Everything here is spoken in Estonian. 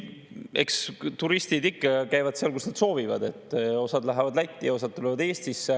Ei, eks turistid ikka käivad seal, kus nad soovivad: osa läheb Lätti ja osa tuleb Eestisse.